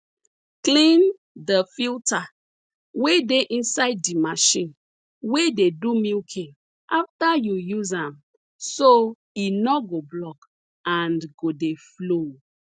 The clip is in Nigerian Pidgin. clean di filta wey dey inside di machine wey dey do milking afta yu use am so e nor go block and go dey flow